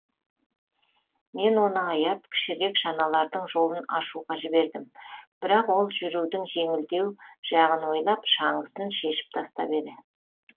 мен оны аяп кішірек шаналардың жолын ашуға жібердім бірақ ол жүрудің жеңілдеу жағын ойлап шаңғысын шешіп тастап еді